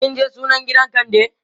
kinje sunan gidan kande?